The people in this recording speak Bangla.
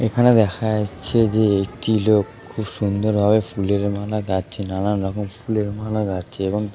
এখানে দেখা যাচ্ছে যে একটি লোক খুব সুন্দরভাবে ফুলের মালা গাঁথছে নানান রকম ফুলের মালা গাঁথছে এবং ।